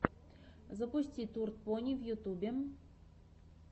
запусти турд пони в ютьюбе